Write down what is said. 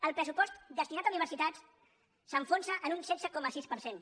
el pressupost destinat a universitats s’enfonsa en un setze coma sis per cent